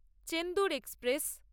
Chendur express